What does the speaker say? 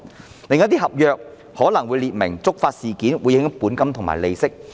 然而，另一些合約可能訂明了觸發事件會影響本金和利息。